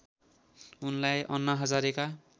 उनलाई अन्ना हजारेका